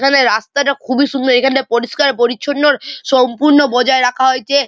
এখানে রাস্তাটা খুবই সুন্দর এইখানে পরিষ্কার পরিছন্ন-অ সম্পূর্ণ বজায় রাখা হয়েছে।